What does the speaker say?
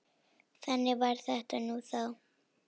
Þannig var þetta nú þá.